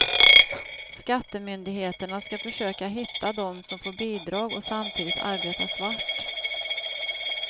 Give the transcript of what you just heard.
Skattemyndigheterna ska försöka hitta dem som får bidrag och samtidigt arbetar svart.